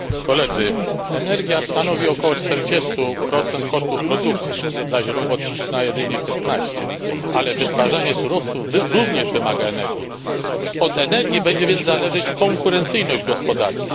Panie Przewodniczący! Energia stanowi około 40 kosztów produkcji, zaś robocizna jedynie 15 ale wytwarzanie surowców również wymaga energii. Od energii będzie więc zależeć konkurencyjność gospodarki.